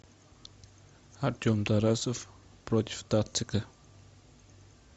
артем тарасов против дацика